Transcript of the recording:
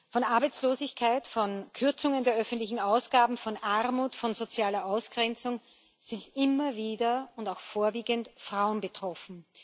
Von Arbeitslosigkeit, von Kürzungen der öffentlichen Ausgaben, von Armut, von sozialer Ausgrenzung sind immer wieder und auch vorwiegend Frauen betroffen.